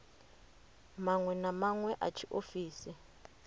maṅwe na maṅwe a tshiofisi